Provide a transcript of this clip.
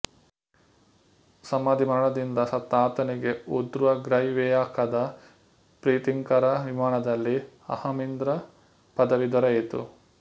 ಸಮಾಧಿ ಮರಣದಿಂದ ಸತ್ತ ಆತನಿಗೆ ಊರ್ಧ್ವಗ್ರೈವೇಯಕದ ಪ್ರೀತಿಂಕರ ವಿಮಾನದಲ್ಲಿ ಅಹಮಿಂದ್ರಪದವಿ ದೊರೆಯಿತು